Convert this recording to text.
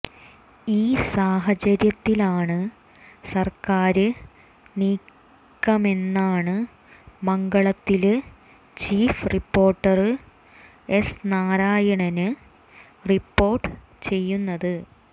ഈ സാഹചര്യത്തിലാണ് സര്ക്കാര് നീക്കമെന്നാണ് മംഗളത്തില് chief reporter S Narayanan report ചെയ്യുന്നത്